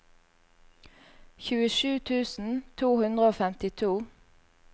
tjuesju tusen to hundre og femtito